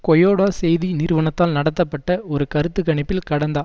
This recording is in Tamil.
கொயொடொ செய்தி நிறுவனத்தால் நடத்தப்பட்ட ஒரு கருத்து கணிப்பில் கடந்த